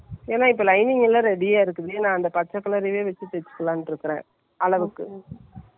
அப்போவே நீ போடுற மாதிரி நான் தைக்கணும்னு என்னக்கு ஒரு இது, போட்டு பார்த்து correct பண்ணிடணும்ங்குற மாதிரி.